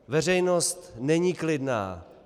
Veřejnost není klidná.